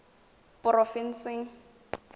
porofensing